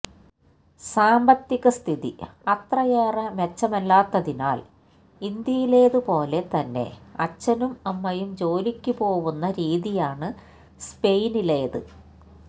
സാമ്പത്തികസ്ഥിതി അത്രയേറെ മെച്ചമല്ലാത്തതിനാൽ ഇന്ത്യയിലേതുപോലെ തന്നെ അച്ഛനുമമ്മയും ജോലിക്ക് പോവുന്ന രീതിയാണ് സ്പെയിനിലേത്